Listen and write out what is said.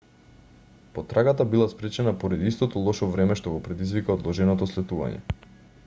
потрагата била спречена поради истото лошо време што го предизвика одложеното слетување